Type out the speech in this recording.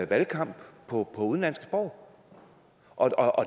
valgkamp på udenlandske sprog og